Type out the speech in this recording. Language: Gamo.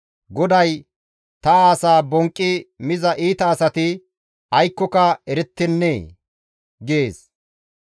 GODAY, «Ta asaa bonqqi miza iita asati aykkoka erettennee?» gees.